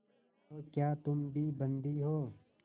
तो क्या तुम भी बंदी हो